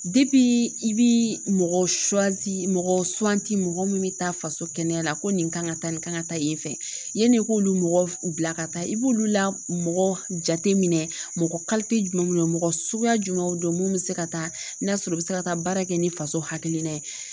i bi mɔgɔ mɔgɔ mɔgɔ min bɛ taa faso kɛnɛya la ko nin kan ka taa nin kan ka taa yen fɛ yanni k'olu mɔgɔ bila ka taa, i b'olu la mɔgɔ jateminɛ mɔgɔ jumɛn don mɔgɔ suguya jumɛn don mun bɛ se ka taa n'a sɔrɔ u bɛ se ka taa baara kɛ, ni faso hakilina ye.